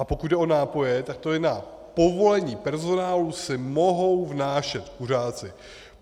A pokud jde o nápoje, tak to je: na povolení personálu si mohou vnášet kuřáci.